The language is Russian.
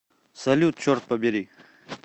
салют черт побери